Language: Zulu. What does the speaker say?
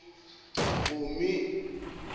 mpumi